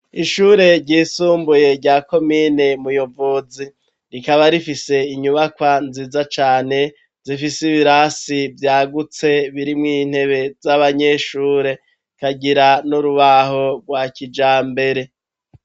Ishure ryisumbuye, rya komine Muyovozi; rikaba rifise, inyubakwa nziza cane, zifise ibirasi vyagutse, birimwo intebe z'abanyeshure, ikagira n'urubaho, rwa kijambere.